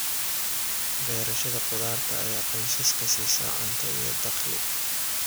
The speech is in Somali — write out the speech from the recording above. Beerashada khudaarta ayaa qoysaska siisa cunto iyo dakhli.